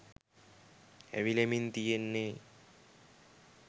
ඇවිලෙමින් තියෙන්නෙ